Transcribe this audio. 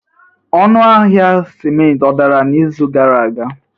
Ọnụ ahịa ciment ọ dara n'izu gara aga?